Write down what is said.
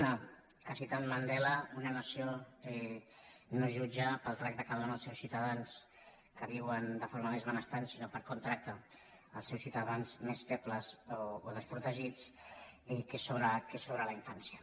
una que citant mandela una nació no es jutja pel tracte que dóna als seus ciutadans que viuen de forma més benestant sinó per com tracta als seus ciutadans més febles o desprotegits que és sobre la infància